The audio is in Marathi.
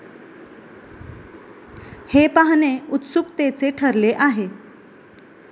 हे पाहणे उत्सुकतेचे ठरले आहे.